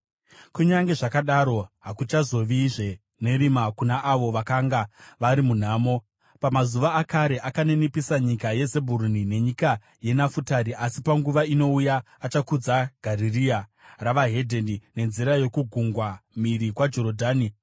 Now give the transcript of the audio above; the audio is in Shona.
Kunyange zvakadaro, hakuchazovazve nerima kuna avo vakanga vari munhamo. Pamazuva akare akaninipisa nyika yeZebhuruni nenyika yeNafutari, asi panguva inouya achakudza Garirea reveDzimwe Ndudzi, nenzira yokugungwa mhiri kwaJorodhani.